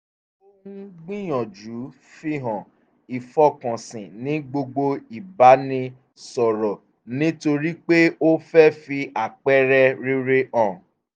ó ń gbìyànjú fíhàn ìfọkànsìn ní gbogbo ìbánisọ̀rọ̀ nítorí pé ó fẹ́ fi àpẹẹrẹ rere hàn